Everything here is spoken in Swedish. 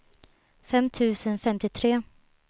fem tusen femtiotre